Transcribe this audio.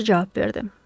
Yol yoldaşı cavab verdi.